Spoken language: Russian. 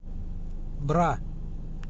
бра